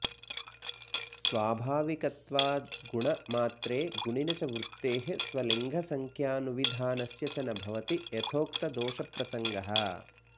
स्वाभाविकत्वाद्गुणमात्रे गुणिनि च वृत्तेः स्वलिङ्गसंख्यानुविधानस्य च न भवति यथक्तदोषप्रसङ्गः